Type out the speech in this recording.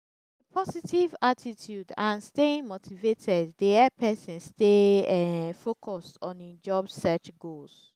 a positive attitude and staying motivated dey help person stay um focused on im job search goals.